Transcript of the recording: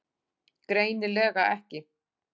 Greinilega ekki.